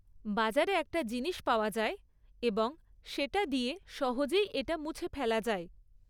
বাজারে একটা জিনিস পাওয়া যায় এবং সেটা দিয়ে সহজেই এটা মুছে ফেলা যায়।